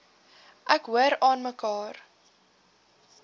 ek hoor aanmekaar